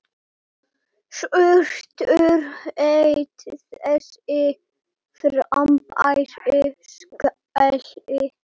Surtur hét þessi frábæri skáli.